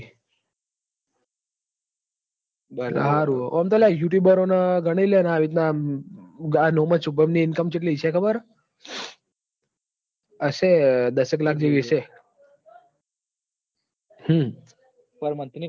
ઓં મતો ગનીલેણ youtube બરોન બાર મહીનોની income ચટલી હશે ખબર હે હશે બાશો કલાક જેવી હશે હમ લાગતું નહિ